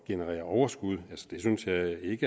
generere overskud det synes jeg ikke